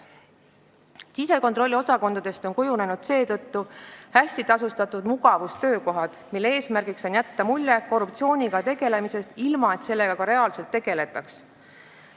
Sisekontrolliosakondadest on seetõttu kujunenud hästi tasustatud mugavustöökohad, mille eesmärk on jätta mulje korruptsiooniga võitlemisest, ilma et sellega reaalselt tegeletaks.